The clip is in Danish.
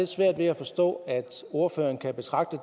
svært ved at forstå at ordføreren kan betragte